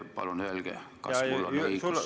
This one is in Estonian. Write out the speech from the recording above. Palun öelge, kas mul on õigus.